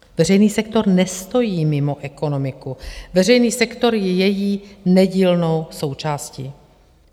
Veřejný sektor nestojí mimo ekonomiku, veřejný sektor je její nedílnou součástí.